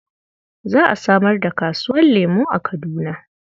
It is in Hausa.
Za a samar da kasuwar lemo a Kaduna.